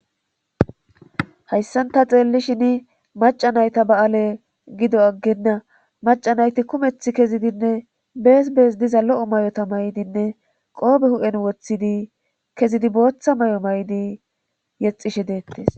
hayssanta xeellishin maca nayta ba7aale gido aggenna maca nayti kumeth kezidinne bees bees diza lo7o may7ota maydinne qoobe hu7en wothidi kezidi booththa may7o may7di yexishe deettes